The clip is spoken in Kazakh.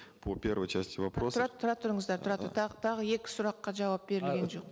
по первой части вопроса тұра тұра тұрыңыздар тұра тұр тағы екі сұраққа жауап берілген жоқ